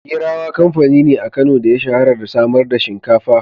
Gerawa kamfani ne a Kano da ya shahara da samar da shinkafa.